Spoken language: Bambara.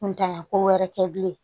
Kuntanya ko wɛrɛ kɛ bilen